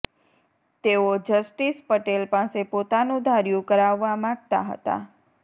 તેઓ જસ્ટિસ પટેલ પાસે પોતાનું ધાર્યું કરાવવા માગતા હતા